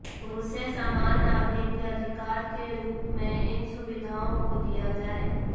उसे समान नागरिक के अधिकार के रूप में इन सुविधाओं को दिया जाए